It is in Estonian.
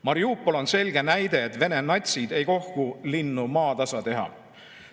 Mariupol on selge näide, et Vene natsid ei kohku linnu maatasa tegemast.